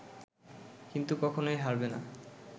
কিন্তু কখনোই হারবে না